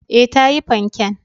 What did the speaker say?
E, ta yi fanken.